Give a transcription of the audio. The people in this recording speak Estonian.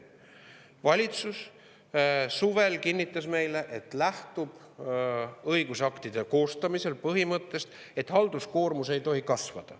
Valitsus kinnitas meile suvel, et lähtub õigusaktide koostamisel põhimõttest, et halduskoormus ei tohi kasvada.